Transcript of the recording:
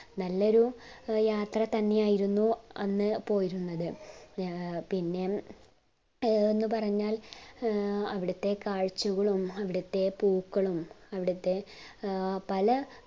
നല്ലൊരു യാത്ര തെന്നെയായിരുന്നു അന്ന് പോയിരുന്നത് പിന്നെ ഏർ എന്ന് പറഞ്ഞാൽ ഏർ അവിടത്തെ കാഴ്ച്ചകളും അവിടത്തെ പൂക്കളും അവിടത്തെ ഏർ പല